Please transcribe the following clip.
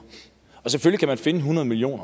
selvfølgelig kan man finde hundrede million